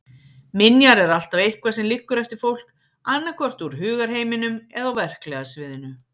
Minjar er alltaf eitthvað sem liggur eftir fólk, annaðhvort úr hugarheiminum eða á verklega sviðinu.